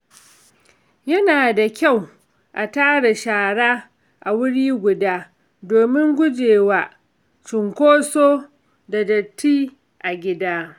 Yana da kyau a tara shara a wuri guda domin gujewa cunkoso da datti a gida.